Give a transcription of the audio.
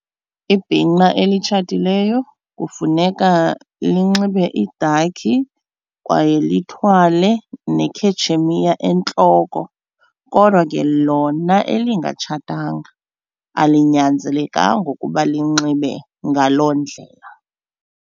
Ibhinqa elitshatileyo kufuneka linxibe idakhi kwaye lithwale nekhetshemiya entloko kodwa ke lona elingatshatanga alinyanzelekanga ukuba linxibe ngaloo ndlela.